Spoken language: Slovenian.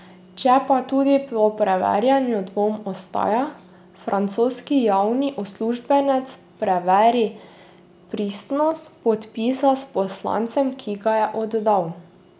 Če pa tudi po preverjanju dvom ostaja, francoski javni uslužbenec preveri pristnost podpisa s poslancem, ki ga je oddal.